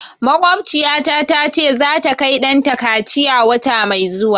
Makwabtaciyata ta ce za ta kai ɗanta kaciya wata mai zuwa